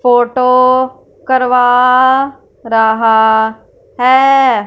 Photo करवा रहा है।